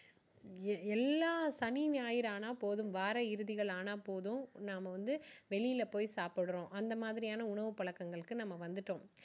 எ~எல்லாம் சனி ஞாயிறு ஆனா போதும் வார இறுதிகள் ஆனா போதும் நாம வந்து வெளில போய் சாப்பிடுறோம் அந்த மாதிரியான உணவு பழக்கங்களுக்கு நம்ம வந்துட்டோம்.